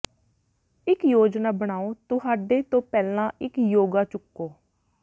ਇੱਕ ਯੋਜਨਾ ਬਣਾਓ ਤੁਹਾਡੇ ਤੋਂ ਪਹਿਲਾਂ ਇੱਕ ਯੋਗਾ ਚੁੱਕੋ